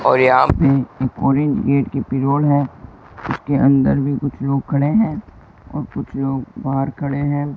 और यहां है उसके अंदर भी कुछ लोग खड़े हैं और कुछ लोग बाहर खड़े हैं।